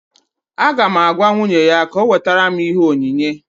Aga m agwa nwunye ya ka ọ wetara m ihe onyinye